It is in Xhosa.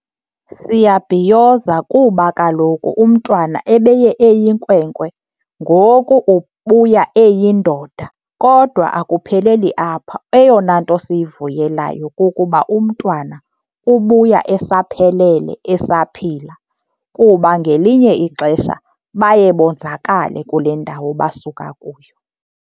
Siyabhiyoza kuba kaloku umntwana ebeye eyinkwenkwe ngoku ubuya eyindoda. Kodwa akupheleli apha, eyona nto siyivuyelayo kukuba umntwana ubuya esaphelele esaphila kuba ngelinye ixesha baye bonzakale kule ndawo basuka kuyo.